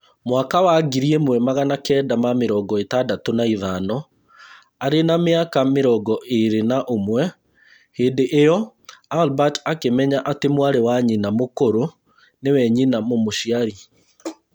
Mwaka wa ngiri ĩmwe Magana kenda ma mĩrongo ĩtandatũ na ithano, arĩ na mĩaka mĩrongo ĩĩrĩ na ũmwe hĩndĩ ĩyo, Albert akĩmenya atĩ mwarĩ wa nyina mũkũrũ nĩwe nyina mũmũciari